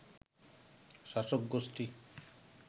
শাসক গোষ্ঠী